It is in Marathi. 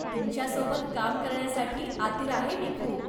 तुमच्या सोबत काम करण्यासाठी आतुर आहे मी खूप.